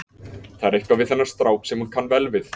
Það er eitthvað við þennan strák sem hún kann vel við.